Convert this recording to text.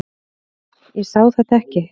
Ég sá þetta ekki.